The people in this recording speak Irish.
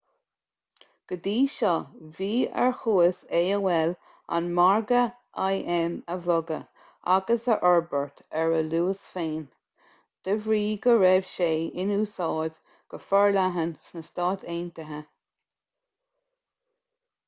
go dtí seo bhí ar chumas aol an margadh im a bhogadh agus a fhorbairt ar a luas féin de bhrí go raibh sé in úsáid go forleathan sna stáit aontaithe